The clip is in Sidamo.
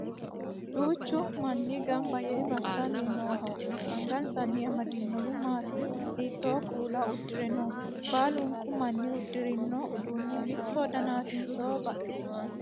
Duuchu manni gamba yee massanni nooho? Angansanni amadinohu maati? Hiitto kuula uddire no? Baalunku manni uddirino uddano mitto danaatinso baxxitinnote?